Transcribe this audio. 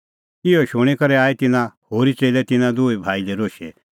इहअ शूणीं करै आई तिन्नां होरी च़ेल्लै तिन्नां दूई भाई लै रोशै